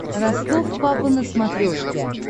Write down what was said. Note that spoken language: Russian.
ростов папа на смотрешке